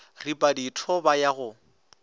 ripa ditho ba ya go